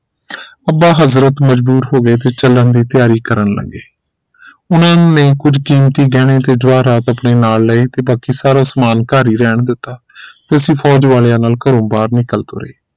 ਅੱਬਾ ਹਜ਼ਰਤ ਮਜਬੂਰ ਹੋ ਗਏ ਤੇ ਚਲਣ ਦੀ ਤਿਆਰੀ ਕਰਨ ਲਗੇ ਉਹਨਾਂ ਨੇ ਕੁਝ ਕੀਮਤੀ ਗਹਿਣੇ ਤੇ ਜਵਾਰਾਹਤ ਆਪਣੇ ਨਾਲ ਲਏ ਤੇ ਬਾਕੀ ਸਾਰੇ ਸਮਾਨ ਘਰ ਹੀ ਰਹਿਣ ਦਿੱਤਾ ਅਸੀਂ ਫੋਜ਼ ਵਾਲਿਆਂ ਨਾਲ ਘਰੋਂ ਬਾਹਰ ਨਿਕਲ ਤੁਰੇ